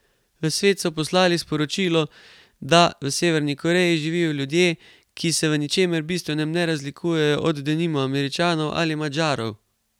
V svet so poslali sporočilo, da v Severni Koreji živijo ljudje, ki se v ničemer bistvenem ne razlikujejo od denimo Američanov ali Madžarov.